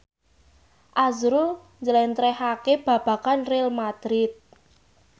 azrul njlentrehake babagan Real madrid